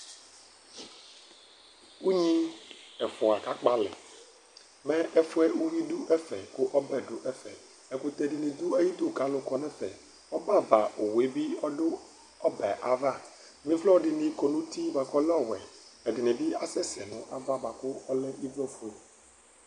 Unyi ɛfʋa kakpɔ alɛ Mɛ ɛfʋ yɛ uyui dʋ ɛfɛ kʋ ɔbɛ dʋ ɛfɛ Ɛkʋtɛ dɩnɩ dʋ ayidu kʋ alʋ kɔ nʋ ɛfɛ Ɔbɛava owu yɛ bɩ ɔdʋ ɔbɛ yɛ ava Ɩvlɔ dɩnɩ kɔ nʋ uti bʋa kʋ ɔlɛ ɔwɛ Ɛdɩnɩ bɩ asɛsɛ nʋ ava bʋa kʋ ɔlɛ ɩvlɔfue